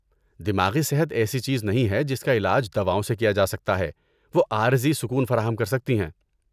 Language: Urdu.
دماغی صحت ایسی چیز نہیں ہے جس کا علاج دواؤں سے کیا جا سکتا ہے، وہ عارضی سکون فراہم کر سکتی ہیں۔